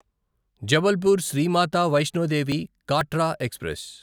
Jabalpur Shri Mata Vaishno Devi Katra express